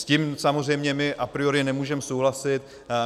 S tím samozřejmě my a priori nemůžeme souhlasit.